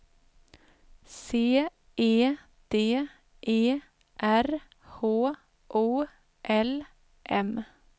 C E D E R H O L M